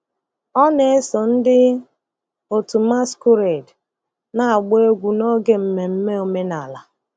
Ọ na-eso ndị otu masquerade na-agba egwu n'oge mmemme omenala.